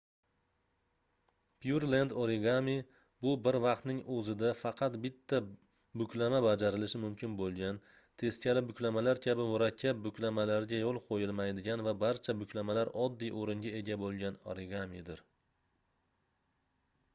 pyurlend origami bu bir vaqtning oʻzida faqat bitta buklama bajarilishi mumkin boʻlgan teskari buklamalar kabi murakkab buklamalarga yoʻl qoʻyilmaydigan va barcha buklamalar oddiy oʻringa ega boʻlgan origamidir